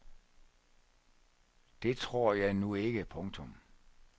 Det tror jeg nu ikke. punktum